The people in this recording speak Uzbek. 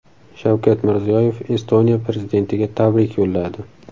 Shavkat Mirziyoyev Estoniya prezidentiga tabrik yo‘lladi.